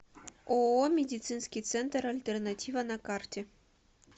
ооо медицинский центр альтернатива на карте